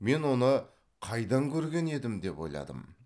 мен оны қайдан көрген едім деп ойландым